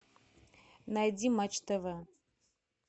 найди матч тв